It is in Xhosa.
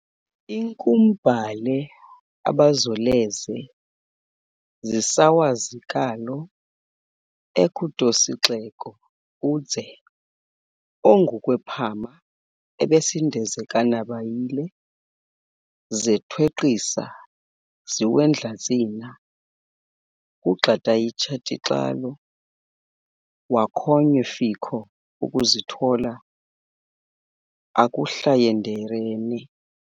Inkumbhale abazoleze zinsawazilikalo enkhutosixeko udze, ongu kwephama abesindezekanabayile zethwenqhisa ziwendlatsina kugxatayitshitaxalo wakhonwenye fikho okuzithola akuHlayenderene